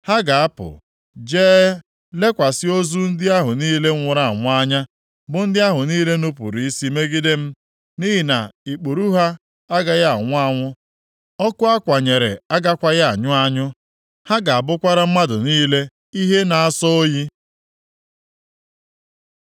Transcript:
“Ha ga-apụ, jee, lekwasị ozu ndị ahụ niile nwụrụ anwụ anya, bụ ndị ahụ niile nupuru isi megide m. Nʼihi na ikpuru ha agaghị anwụ anwụ, ọkụ a kwanyere agakwaghị anyụ anyụ. Ha ga-abụkwara mmadụ niile ihe na-asọ oyi.”